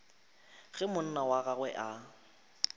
ge monna wa gagwe a